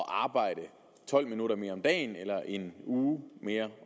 arbejde tolv minutter mere om dagen eller en uge mere